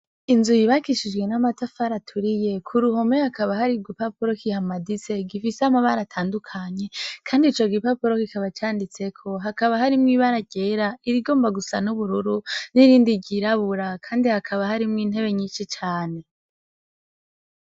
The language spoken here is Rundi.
Inzu yubakishijwe n'amatafari aturiye ku ruhome hakaba hari igipapuro kihamaditse gifise amabara atandukanye kandi ico gipapuro kikaba canditseko hakaba harimwo ibara ryera irigomba gusa n'ubururu n'irindi ryirabura kandi hakaba harimwo intebe nyishi cane.